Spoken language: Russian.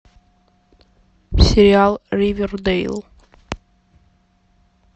сериал ривердейл